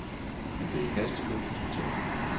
Han blev i hast kørt på hospitalet.